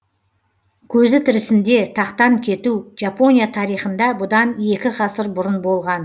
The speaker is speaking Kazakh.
көзі тірісінде тақтан кету жапония тарихында бұдан екі ғасыр бұрын болған